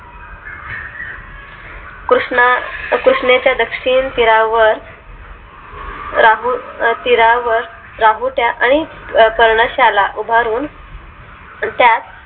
कृष्ण कृष्णे च्या दक्षिण तीरावर राहूल तीरावर राहुट्या आणि पर्ण शाला उभारून त्या